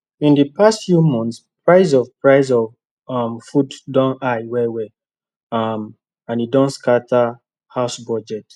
in d past few months price of price of um food don high well well um and e don scata house budget